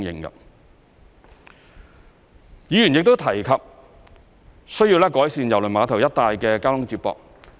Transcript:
議員亦提及需要改善郵輪碼頭一帶的交通接駁。